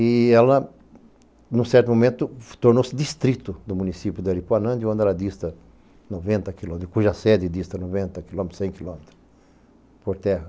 E ela, num certo momento, tornou-se distrito do município de Aripuanã, de onde ela dista noventa quilômetros, cuja sede dista noventa quilômetros, cem quilômetros por terra.